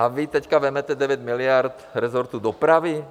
A vy teď vezmete 9 miliard resortu dopravy?